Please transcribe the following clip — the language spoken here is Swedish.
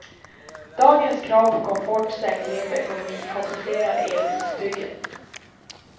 Dagens krav på komfort, säkerhet och ekonomi komplicerar elbilsbygget.